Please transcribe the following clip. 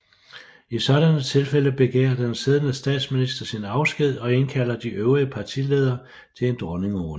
I sådanne tilfælde begærer den siddende statsminister sin afsked og indkalder de øvrige partiledere til en dronningerunde